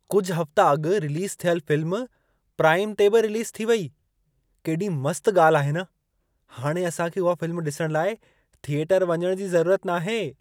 कुझु हफ़्ता अॻु रिलीज़ु थियल फ़िल्म, प्राइम ते बि रिलीज़ु थी हुई। केॾी मस्त ॻाल्ह आहे न! हाणे असां खे उहा फ़िल्म ॾिसण लाइ थिएटरु वञण जी ज़रूरत नाहे!